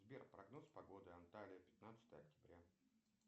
сбер прогноз погоды анталия пятнадцатое октября